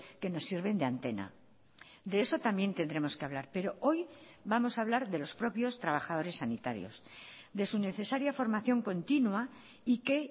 que nos sirven de antena de eso también tendremos que hablar pero hoy vamos a hablar de los propios trabajadores sanitarios de su necesaria formación continua y que